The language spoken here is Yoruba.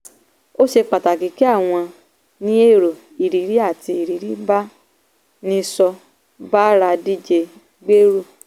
ó ṣe pàtàkì kí àwọn ní èrò ìrírí àti ìrírí bá a nìṣó bára díje gbèrú.